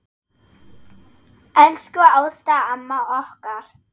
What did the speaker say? Elsku Ásta amma okkar.